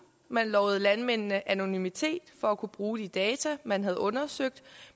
man lovede landmændene anonymitet for at kunne bruge de data man havde undersøgt